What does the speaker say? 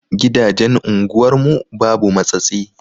Gidajen unguwar mu babu matsatsi.